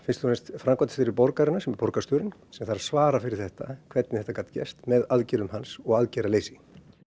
framkvæmdastjóri borgarinnar sem er borgarstjórinn sem þarf að svara fyrir þetta hvernig þetta gat gerst með aðgerðum hans og aðgerðaleysi